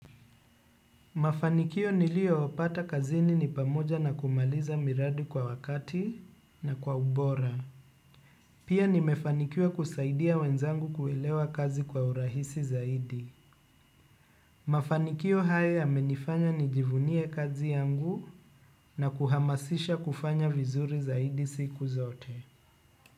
Mafanikio niliyopata kazini ni pamoja na kumaliza miradi kwa wakati na kwa ubora. Pia nimefanikiwa kusaidia wenzangu kuelewa kazi kwa urahisi zaidi. Mafanikio haya yamenifanya nijivunie kazi yangu na kuhamasisha kufanya vizuri zaidi siku zote.